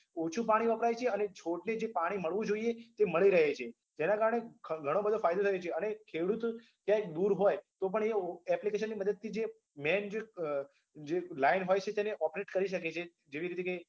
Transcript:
ઓછું પાણી વપરાય છે અને છોડને જે પાણી મળવું જોઈએ તે મળી રહે છે જેના કારણે ઘણો બધો ફાયદો થયો છે અને ખેડૂતો ક્યાંય દૂર હોય તોપણ એ application ની મદદથી જે main જે જે line હોય છે તેને operate કરી શકે છે જેવી રીતે કે